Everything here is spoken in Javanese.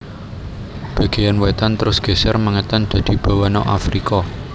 Bagéyan wètan terus geser mengètan dadi Bawana Afrika